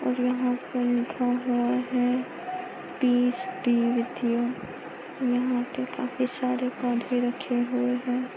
और यहा पे लिखा हुआ है यु यहा पे काफी सारे पौधे रखे हुए है।